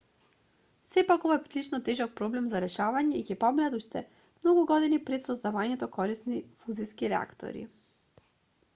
сепак ова е прилично тежок проблем за решавање и ќе поминат уште многу години пред создавањето корисни фузиски реактори